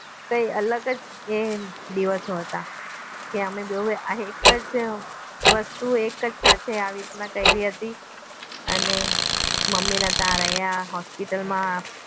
કઈ અલગ જ એ દિવસો હતા કે અમે બેઉ એ એક જ એક જ વસ્તુ આવી રીતના સાથે કરી હતી અને મમ્મીના તા રહ્યા હોસ્પિટલમાં